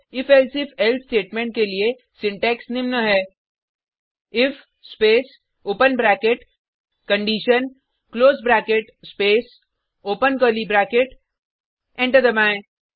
if elsif else statement के लिए syntax निम्न है if space open bracket condition close bracket space open curly bracket enter दबाएँ